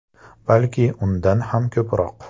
Balki undan ham ko‘proq.